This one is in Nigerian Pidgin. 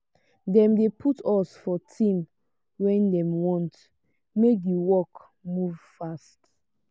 dem dey put us for team wen dem want make di work move fast.